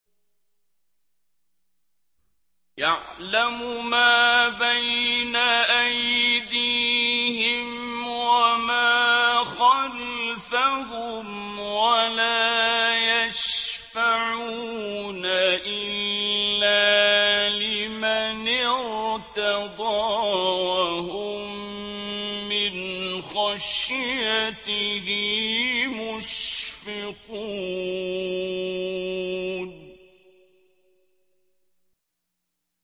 يَعْلَمُ مَا بَيْنَ أَيْدِيهِمْ وَمَا خَلْفَهُمْ وَلَا يَشْفَعُونَ إِلَّا لِمَنِ ارْتَضَىٰ وَهُم مِّنْ خَشْيَتِهِ مُشْفِقُونَ